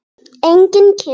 Enginn kemur.